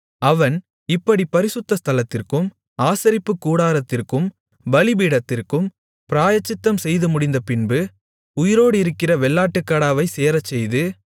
அவன் இப்படிப் பரிசுத்த ஸ்தலத்திற்கும் ஆசரிப்புக்கூடாரத்திற்கும் பலிபீடத்திற்கும் பிராயச்சித்தம் செய்துமுடிந்தபின்பு உயிரோடிருக்கிற வெள்ளாட்டுக்கடாவைச் சேரச்செய்து